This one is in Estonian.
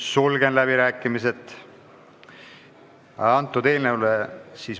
Sulgen läbirääkimised.